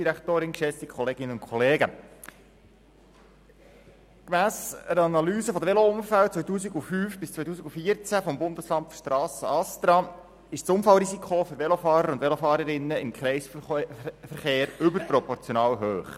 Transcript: Gemäss einer Analyse der Velounfälle von 2005–2014 des Bundesamts für Strassen (ASTRA) ist das Unfallrisiko für Velofahrerinnen und Velofahrern im Kreisverkehr überproportional hoch.